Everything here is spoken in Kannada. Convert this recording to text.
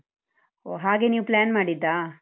ಹೋ ಹಾಗೆ ನೀವ್ plan ಮಾಡಿದ್ದಾ?